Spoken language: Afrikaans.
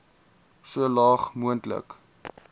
so laag moontlik